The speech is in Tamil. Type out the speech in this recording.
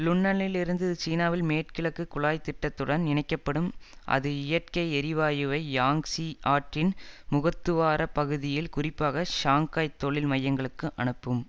லுன்னனில் இருந்து இது சீனாவில் மேற்குகிழக்கு குழாய்த்திட்டத்துடன் இணைக்க படும் அது இயற்கை எரிவாயுவை யாங்சிய் ஆற்றின் முகத்துவாரப் பகுதியில் குறிப்பாக ஷாங்காய் தொழில் மையங்களுக்கு அனுப்பும்